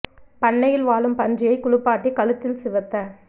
பண்ணையில் வாழும் பன்றியை குளிப்பாட்டி கழுத்தில் சிவத்த